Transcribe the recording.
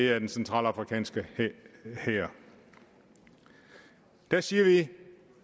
er den centralafrikanske hær der siger vi